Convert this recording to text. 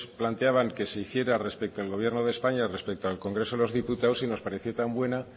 planteaban que se hiciera respecto al gobierno de españa respecto al congreso de los diputados y nos pareció tan buena